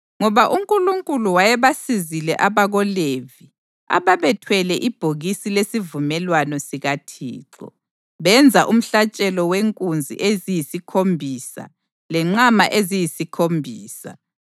Ngoba uNkulunkulu wayebasizile abakoLevi ababethwele ibhokisi lesivumelwano sikaThixo, benza umhlatshelo wenkunzi eziyisikhombisa lenqama eziyisikhombisa.